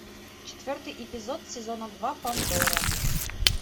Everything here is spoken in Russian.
четвертый эпизод сезона два пандора